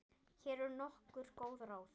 Hér eru nokkur góð ráð.